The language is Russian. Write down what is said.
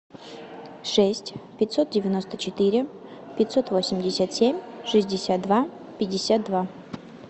шесть пятьсот девяносто четыре пятьсот восемьдесят семь шестьдесят два пятьдесят два